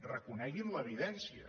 reconeguin l’evidència